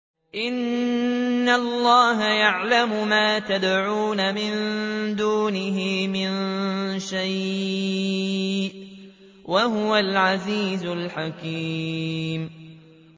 إِنَّ اللَّهَ يَعْلَمُ مَا يَدْعُونَ مِن دُونِهِ مِن شَيْءٍ ۚ وَهُوَ الْعَزِيزُ الْحَكِيمُ